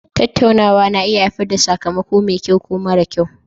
Tattaunawa na iya haifar da sakamako mai kyau ko mara kyau